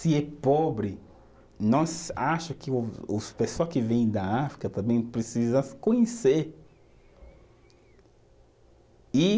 Se é pobre, nós acha que o os, pessoa que vem da África também precisam conhecer e